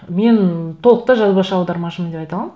мен толықтай жазбашы аудармашымын деп айта аламын